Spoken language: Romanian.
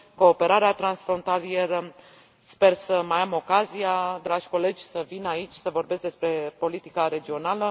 Cooperarea transfrontalieră sper să mai am ocazia, dragi colegi, să vin aici să vorbesc despre politica regională.